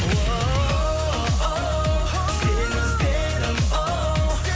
оу сені іздедім оу